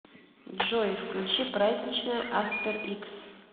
джой включи праздничная аспер икс